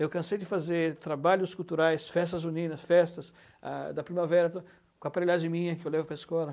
Eu cansei de fazer trabalhos culturais, festas juninas, festas ah da primavera, com a aparelhagem minha que eu levo para a escola.